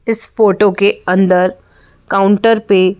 इस फोटो के अंदर काउंटर पे --